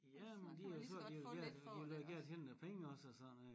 Ja men de har jo sagt de vil gerne de vil gerne tjene nogle penge også og sådan noget og